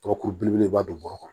Dɔgɔkun belebeleba don bɔrɔ kɔnɔ